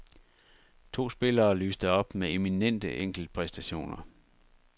To spillere lyste op med eminente enkeltpræstationer.